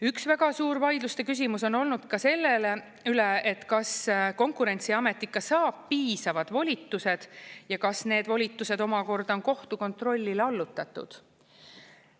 Üks väga suur vaidluste küsimus on olnud ka selle üle, et kas Konkurentsiamet ikka saab piisavad volitused ja kas need volitused omakorda on kohtu kontrollile allutatud.